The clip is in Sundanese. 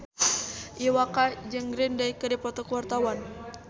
Iwa K jeung Green Day keur dipoto ku wartawan